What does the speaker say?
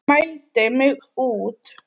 Mældi mig út.